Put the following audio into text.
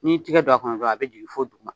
N'i tigɛ don a kɔnɔ dɔrɔn a bɛ jigin fɔ duguma.